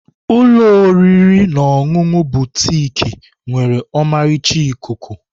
Ụlọ oriri na ọṅụṅụ Butik nwere ọmarịcha ikuku.